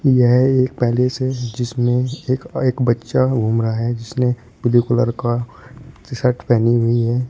यह एक पैलेस है जिसमें एक अ एक बच्चा घूम रहा है जिसने ब्लू कलर का टी-शर्ट पहनी हुई है।